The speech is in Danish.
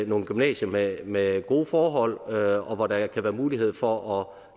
nogle gymnasier med med gode forhold og og hvor der kan være mulighed for